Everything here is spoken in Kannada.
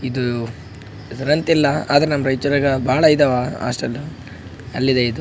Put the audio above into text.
ಇದು ಇದ್ರಂತಿಲ್ಲ ಆದ್ರೆ ನಮ್ಮ್ ರೈಚೂರಾಗ ಬಹಳ ಇದಾವ ಹೋಸ್ಟೆಲ್ಲ್ ಅಲ್ಲಿದೆ ಇದು.